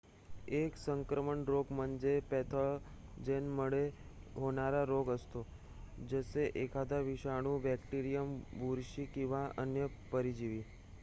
1 संक्रामक रोग म्हणजे पॅथोजेनमुळे होणारा रोग असतो जसे एखादा विषाणू बॅक्टेरियम बुरशी किंवा अन्य परजीवी